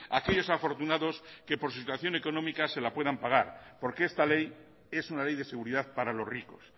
aquellos afortunados que por su situación económica se la puedan pagar porque esta ley es una ley de seguridad para los ricos